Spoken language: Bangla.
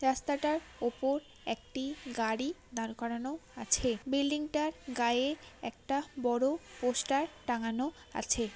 রাস্তাটার ওপর একটি গাড়ি দাঁড় করানো আছে বিল্ডিং টার গায়ে একটা বড় পোস্টার টাঙানো আছে।